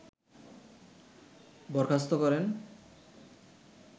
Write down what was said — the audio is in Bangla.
বরখাস্ত করেন